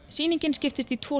sýningin skiptist í tvo